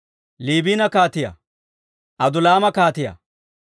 Liibina kaatiyaa, Adulaama kaatiyaa,